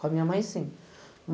Com a minha mãe, sim.